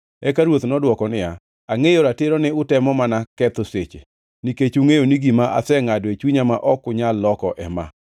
Eka ruoth nodwoko niya, “Angʼeyo ratiro ni utemo mana ketho seche, nikech ungʼeyo ni gima asengʼado e chunya ma ok anyal loko ema: